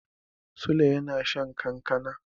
Sule yana shan kankana.